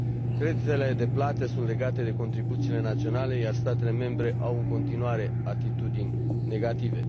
Creditele de plată sunt legate de contribuțiile naționale, iar statele membre au în continuare atitudini negative.